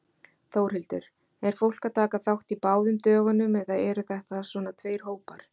Þórhildur: Er fólk að taka þátt í báðum dögunum eða eru þetta svona tveir hópar?